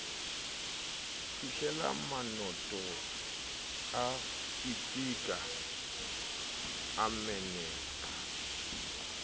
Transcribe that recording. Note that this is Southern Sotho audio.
fihlelammatoko a pitika a meneka